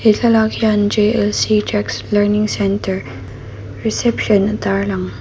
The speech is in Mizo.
thla lak hian jax learning center receiption a tar lan.